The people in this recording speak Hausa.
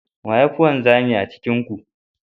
Wa ya fi wanzami a cikin ku?